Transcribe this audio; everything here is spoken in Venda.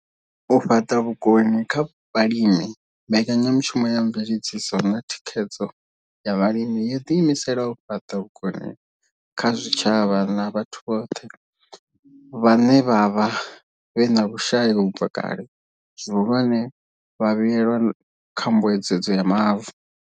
U fhaṱa vhukoni kha vhalimi Mbekanya mushumo ya Mveledziso na Thikhedzo ya Vhalimi yo ḓiimisela u fhaṱa vhukoni kha zwitshavha na vhathu vhothe vhaṋe vhe vha vha vhe na vhushai u bva kale, zwihulwane, vhavhuelwa kha Mbuedzedzo ya Mavu.